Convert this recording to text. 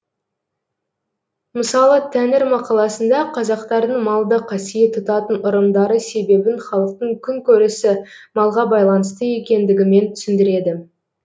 мысалы тәңір мақаласында қазақтардың малды қасиет тұтатын ырымдары себебін халықтың күн көрісі малға байланысты екендігімен түсіндіреді